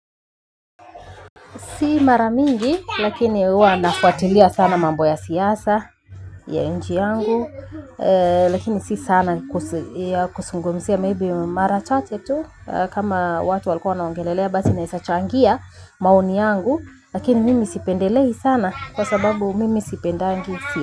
Si mara mingi, lakini huwa nafuatilia sana mambo ya siasa, ya nji yangu, eeh lakini si sana kuzungumzia maybe mara chache tu kama watu walikouwa wanaongelelea basi naezachangia maoni yangu, lakini mimi sipendelei sana kwa sababu mimi sipendangi siyasa.